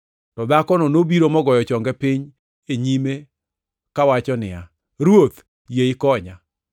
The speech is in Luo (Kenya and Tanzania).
To dhakono nobiro mogoyo chonge piny e nyime, kawacho niya, “Ruoth, yie ikonya.”